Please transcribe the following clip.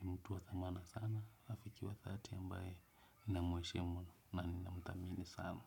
ni mtu wa thamana sana rafiki wa thelathini ambaye namweshimu na ninamtamini sana.